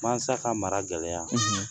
Mansa ka mara gɛlɛya